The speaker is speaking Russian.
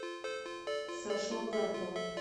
сашу огаркова